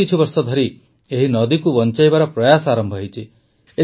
ବିଗତ କିଛିବର୍ଷ ଧରି ଏହି ନଦୀକୁ ବଂଚାଇବାର ପ୍ରୟାସ ଆରମ୍ଭ ହୋଇଛି